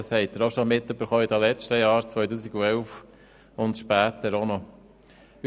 Das haben Sie in den letzten Jahren auch schon erfahren, sowohl im Jahr 2011 als auch später.